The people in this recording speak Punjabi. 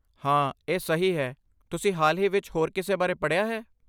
ਹਾਂ, ਇਹ ਸਹੀ ਹੈ, ਤੁਸੀਂ ਹਾਲ ਹੀ ਵਿੱਚ ਹੋਰ ਕਿਸ ਬਾਰੇ ਪੜ੍ਹਿਆ ਹੈ?